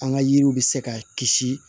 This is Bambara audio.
An ka yiriw bɛ se ka kisi